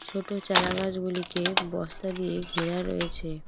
ছোটো চারাগাছগুলিকে বস্তা দিয়ে ঘেরা রয়েছে।